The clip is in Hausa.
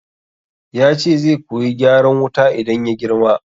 Yace zai koyi gyaran wuta idan ya girma